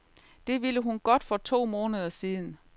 Det ville hun godt for to måneder siden.